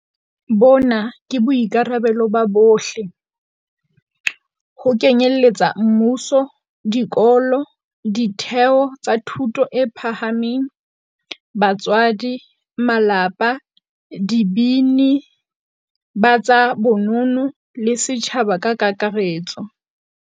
Bona ke boikarabelo ba bohle ho kenyeletsa mmuso, dikolo, ditheo tsa thuto e phahameng, batswadi, malapa, dibini, ba tsa bonono, le setjhaba ka kakaretso.